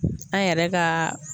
A yɛrɛ kaa